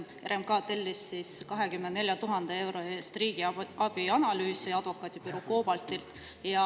RMK tellis 24 000 euro eest riigiabianalüüsi advokaadibüroolt COBALT.